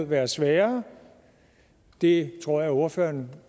være sværere det tror jeg ordføreren